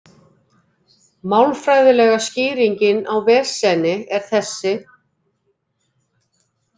Málfræðilega skýringin á veseni er þessi: